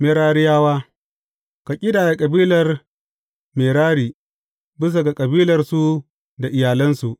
Merariyawa Ka ƙidaya kabilar Merari bisa ga kabilarsu da iyalansu.